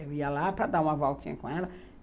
Eu ia lá para dar uma voltinha com ela.